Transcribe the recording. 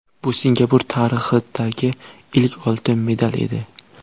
Bu Singapur tarixidagi ilk oltin medal edi.